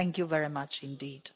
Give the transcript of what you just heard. Thank you very much indeed.